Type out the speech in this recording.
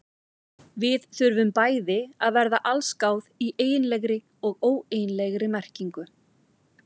Við þurfum bæði að verða allsgáð í eiginlegri og óeiginlegri merkingu.